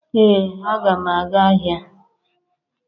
ee a ga m aga ahia